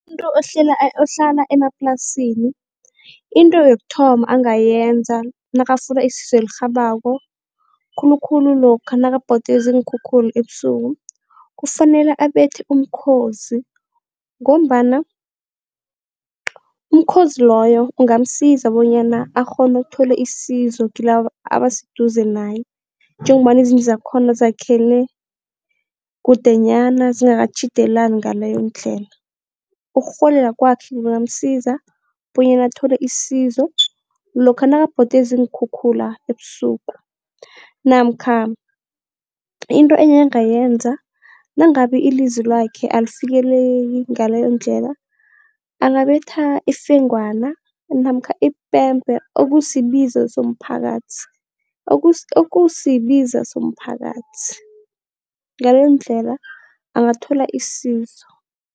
Umuntu ohlala emaplasini into yokuthoma angayenza nakafuna isizo elirhabako khulukhulu lokha nakabhodwe ziinkhukhula ebusuku. Kufanele abethe umkhozi ngombana umkhozi loyo, ungamsiza bonyana akghone ukuthola isizo kilaba abaseduze naye njengombana izindlu zakhona zakhele kude nyana zingakatjhidelani ngaleyondlela. Ukurhuwelela kwakhe kungamsiza bonyana athole isizo lokha nakabhodwe ziinkhukhula ebusuku namkha into enye angayenza nangabe ilizwi lakhe alifikeleli ngaleyondlela angabetha ifengwana namkha ipempe okusibiza somphakathi, ngaleyondlela angathola isizo.